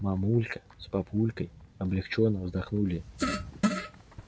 мамулька с папулькой облегчённо вздохнули